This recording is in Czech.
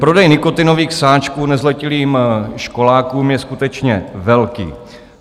Prodej nikotinových sáčků nezletilým školákům je skutečně velký.